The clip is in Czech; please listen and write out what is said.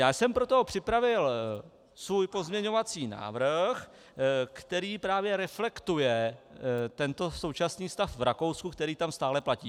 Já jsem proto připravil svůj pozměňovací návrh, který právě reflektuje tento současný stav v Rakousku, který tam stále platí.